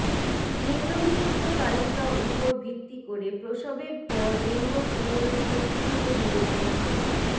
নিম্নলিখিত তালিকা উপর ভিত্তি করে প্রসবের পর লিঙ্গ পুনরুদ্ধার কিভাবে বিবেচনা করুন